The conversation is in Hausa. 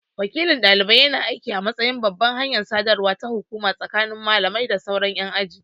Wakilin dalibai yana aiki a matsayin babbar hanyar sadarwa ta hukuma tsakanin malami da sauran yan aji.